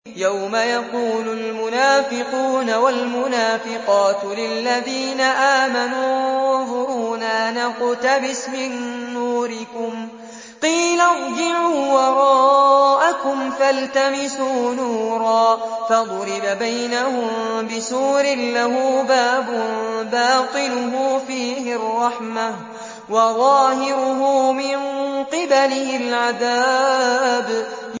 يَوْمَ يَقُولُ الْمُنَافِقُونَ وَالْمُنَافِقَاتُ لِلَّذِينَ آمَنُوا انظُرُونَا نَقْتَبِسْ مِن نُّورِكُمْ قِيلَ ارْجِعُوا وَرَاءَكُمْ فَالْتَمِسُوا نُورًا فَضُرِبَ بَيْنَهُم بِسُورٍ لَّهُ بَابٌ بَاطِنُهُ فِيهِ الرَّحْمَةُ وَظَاهِرُهُ مِن قِبَلِهِ الْعَذَابُ